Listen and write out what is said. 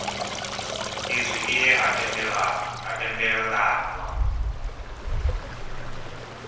izwi i ye ha tendelanwa